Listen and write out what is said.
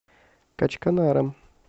качканаром